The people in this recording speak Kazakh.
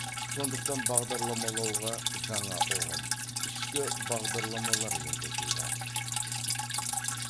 сондықтан бағдарламалауға жаңа ұғым ішкі бағдарламалар енгізілді